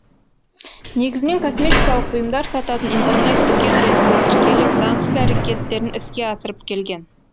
негізінен косметикалық бұйымдар сататын интернет дүкен ретінде тіркеліп заңсыз әрекеттерін іске асырып келген